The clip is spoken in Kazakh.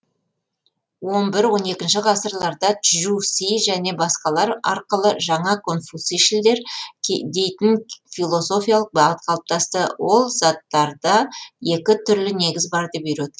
он бір он екінші ғасырларда чжу си және басқалар арқылы жаңа конфуцийшілдер дейтін философиялық бағыт қалыптасты ол заттарда екі түрлі негіз бар деп үйретті